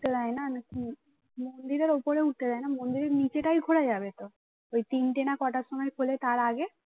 উঠতে দেয় না কি মন্দিরের ওপরে উঠতে দেয় না মন্দিরে নিচে টাই ঘোরা যাবে তো ওই তিন টে না কটার সময় খুলে তার আগে